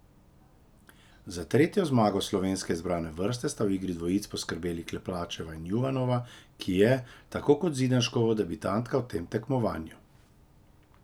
Za tretjo zmago slovenske izbrane vrste sta v igri dvojic poskrbeli Klepačeva in Juvanova, ki je, tako kot Zidanškova, debitantka v tem tekmovanju.